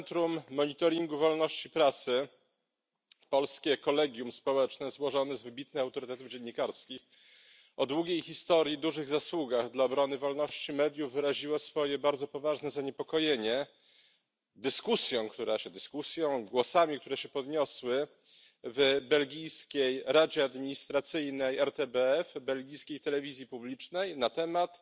Centrum Monitoringu Wolności Prasy polskie kolegium społeczne złożone z wybitnych autorytetów dziennikarskich, o długiej historii, dużych zasługach dla obrony wolności mediów wyraziło swoje bardzo poważne zaniepokojenie dyskusją, głosami które się podniosły w belgijskiej Radzie Administracyjnej RTBF belgijskiej telewizji publicznej, na temat